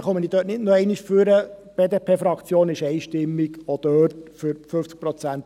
Ich werde deshalb nicht noch einmal nach vorne ans Rednerpult treten.